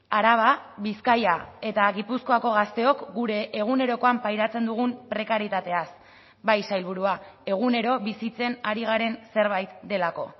araba bizkaia eta gipuzkoako gazteok gure egunerokoan pairatzen dugun prekarietateaz bai sailburua egunero bizitzen ari garen zerbait delako